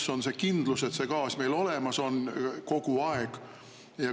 Kus on see kindlus, et gaas meil kogu aeg olemas on?